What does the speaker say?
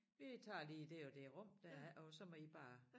VI tager lige det og det rum der er og så må I bare